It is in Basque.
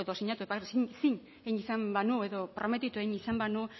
zin izan banu edo prometitu izan banu